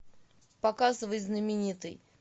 показывай знаменитый